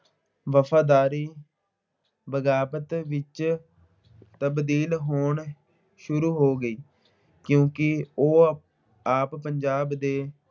ਵਫ਼ਾਦਾਰੀ ਬਗਾਵਤ ਵਿੱਚ ਤਬਦੀਲ ਹੋਣੀ ਸ਼ੂਰੂ ਹੋ ਗਈ, ਕਿਉਂਕਿ ਉਹ ਆਪ ਪੰਜਾਬ ਦੇ